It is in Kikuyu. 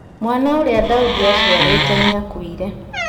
Mwana ũrĩa Daudi aciarĩte nĩakuire